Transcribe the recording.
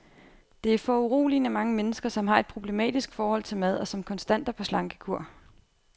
Der er foruroligende mange mennesker, som har et problematisk forhold til mad, og som konstant er på slankekur.